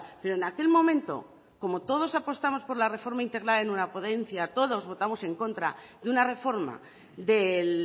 pero en aquel momento como todos apostamos por la reforma integral en una ponencia todos votamos en contra de una reforma de